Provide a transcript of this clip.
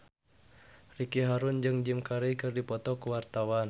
Ricky Harun jeung Jim Carey keur dipoto ku wartawan